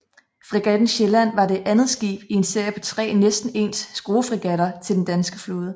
Fregatten Sjælland var det andet skib i en serie på tre næsten ens skruefregatter til den danske flåde